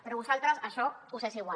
però a vosaltres això us és igual